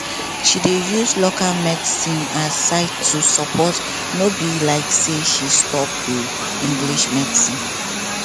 she dey use local medicine as side to support no be like say she stop the english medicine